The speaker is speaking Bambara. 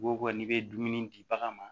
Ko ko n'i bɛ dumuni di bagan ma